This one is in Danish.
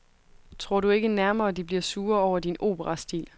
Tror du ikke nærmere de bliver sure over din opera stil.